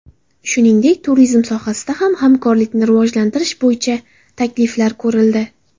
Shuningdek, turizm sohasida ham hamkorlikni rivojlantirish bo‘yicha takliflar ko‘rildi.